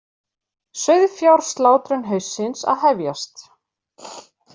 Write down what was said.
Sauðfjárslátrun haustsins að hefjast